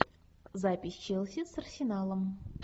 запись челси с арсеналом